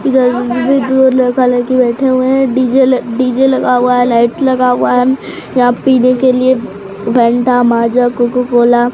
इधर दो लड़का लड़की बैठे हुए है डी_जे डी_जे लगा हुआ है लाइट लगा हुआ है यहां पीने के लिए फेंटा माजा कोको कोला --